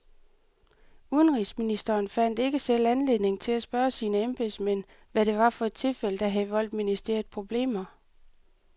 Udenrigsministeren fandt ikke selv anledning til at spørge sine embedsmænd, hvad det var for et tilfælde, der havde voldt ministeriet problemer.